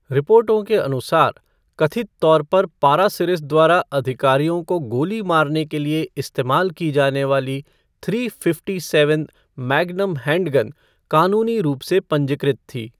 रिपोर्टों के अनुसार, कथित तौर पर पारासिरिस द्वारा अधिकारियों को गोली मारने के लिए इस्तेमाल की जाने वाली three fifty seven magnum handgun कानूनी रूप से पंजीकृत थी।